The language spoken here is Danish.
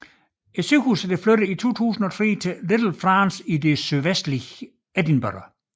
Hospitalet flyttede i 2003 til Little France i det sydvestlige Edinburgh